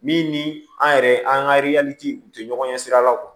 Min ni an yɛrɛ an ka tɛ ɲɔgɔn ɲɛ sira la